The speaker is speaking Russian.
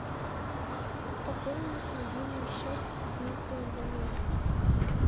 пополнить мобильный счет дмитрия иванова